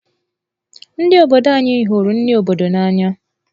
Ndi obodo anyi hụrụ nri obodo n'anya.